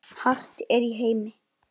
Raðið saman fallega á disk.